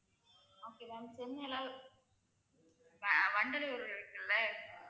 okay ma'am சென்னைல வ~ வண்டலூர் இருக்குல்ல